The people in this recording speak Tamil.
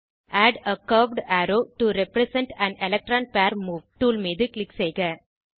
add a curved arrow to represent an electron pair move tool மீது க்ளிக் செய்க